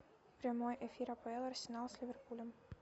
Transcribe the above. прямой эфир апл арсенал с ливерпулем